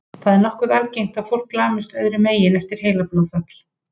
Það er nokkuð algengt að fólk lamist öðrum megin eftir heilablóðfall.